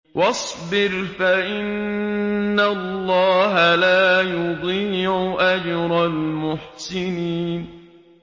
وَاصْبِرْ فَإِنَّ اللَّهَ لَا يُضِيعُ أَجْرَ الْمُحْسِنِينَ